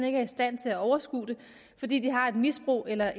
ikke i stand til at overskue det fordi de har et misbrug eller